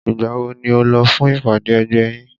Ìgbà wo ni o lọ fún ìpàdé ẹgbẹ́ yín?